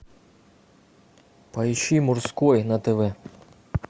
поищи мужской на тв